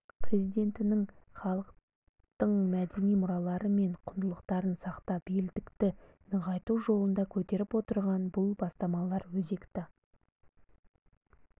президентінің халықтың мәдени мұралары мен құндылықтарын сақтап елдікті нығайту жолында көтеріп отырған бұл бастамалары өзекті